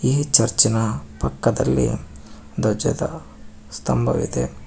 ಈ ಚರ್ಚ್ ನ ಪಕ್ಕದಲ್ಲಿ ಧ್ವಜದ ಸ್ತಂಭವಿದೆ.